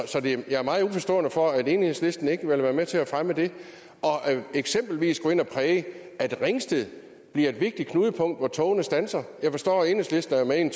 jeg er meget uforstående over for at enhedslisten ikke vil være med til at fremme det og eksempelvis gå ind og præge at ringsted bliver et vigtigt knudepunkt hvor togene standser jeg forstår at enhedslisten er med i en